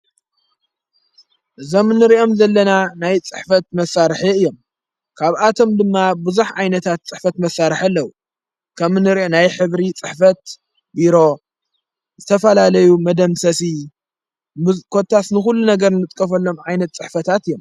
ዘምንርእኦም ዘለና ናይ ጽሕፈት መሣርሕ እዮም ካብኣቶም ድማ ብዙኅ ዓይነታት ጽሕፈት መሣርሕ ኣለዉ ከምንርእ ናይ ኅብሪ ጽሕፈት ቢሮ ዝተፋላለዩ መደምሰሢ ምኰታስንዂሉ ነገር ንጥቀፈሎም ዓይነት ጽሕፈታት እዮም።